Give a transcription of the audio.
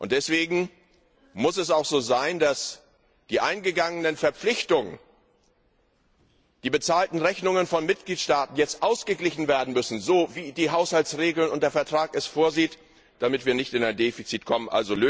Deswegen muss es auch so sein, dass die eingegangenen Verpflichtungen, die bezahlten Rechnungen von Mitgliedstaaten jetzt so ausgeglichen werden, wie die Haushaltsregeln und der Vertrag es vorsehen, damit wir nicht in ein Defizit kommen.